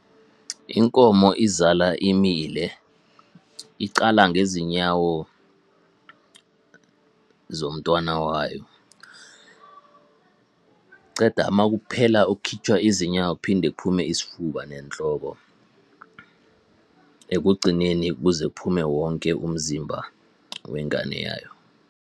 Inkomo izala imile, iqala ngezinyawo zomntwana wayo. Ceda makuphela ukukhitshwa izinyawo, phinde kuphume isifuba nenhloko. Ekugcineni, kuze kuphume wonke umzimba wengane yayo.